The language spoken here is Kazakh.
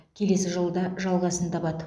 келесі жылы да жалғасын табады